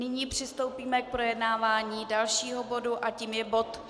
Nyní přistoupíme k projednání dalšího bodu a tím je bod